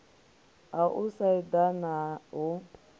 ha u sa eḓana hu